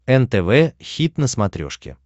нтв хит на смотрешке